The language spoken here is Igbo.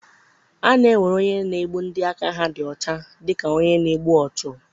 A na-ewere onye na-egbu ndị aka ha dị ọcha dị ka onye na-egbu ọchụ.